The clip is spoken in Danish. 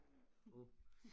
Forhåbentlig